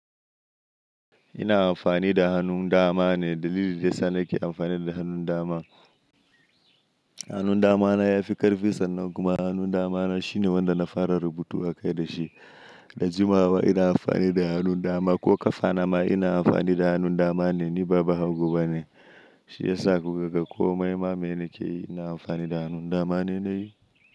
Ina amfani da hannun dama ne. Dalilin da yana sa nake amfani da hannun dama, hannun dama na ya fi ƙarfi sannu kuma hannun dama na shine wanda na fara rubutu a kai da shi. Da jimawa ina amfani da hannun dama ko ƙafa na ma ina amfani da hannun dama ne ni ba bahago bane. Shi yasa gogaggon komai ma me nake yi ina amfani da hannun dama ne na yi.